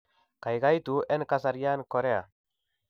Gaigaitu en kasaryan chorea